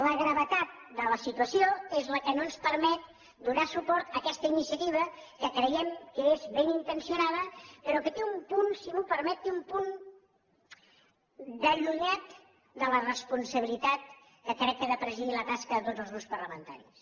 la gravetat de la situació és la que no ens permet donar suport a aquesta iniciativa que creiem que és ben intencionada però que té un punt si m’ho permet té un punt d’allunyat de la responsabilitat que crec que ha de presidir la tasca de tots els grups parlamentaris